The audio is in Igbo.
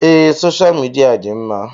Ee, soshal midia dị mma